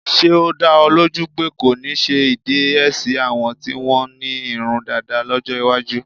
Ṣé́ ó dá ọ lójú pé kò ní sí ìdẹyẹsí àwọn tí wọ́n ní irun dàda lọ́jọ́ iwájú.